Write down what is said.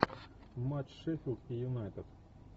матч шеффилд и юнайтед